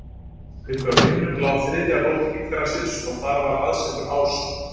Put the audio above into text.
uppi á himnum lá þriðja rót yggdrasils og þar var aðsetur ása